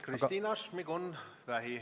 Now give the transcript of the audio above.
Kristina Šmigun-Vähi.